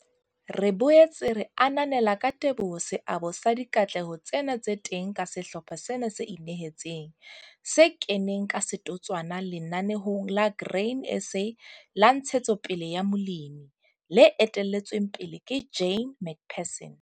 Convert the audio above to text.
Re boetse re ananela ka teboho seabo sa dikatleho tsena tse teng ka sehlopha sena se inehetseng, se keneng ka setotswana Lenaneong la Grain SA la Ntshetsopele ya Molemi, le etelletsweng pele ke Jane McPherson.